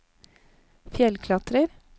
fjellklatrer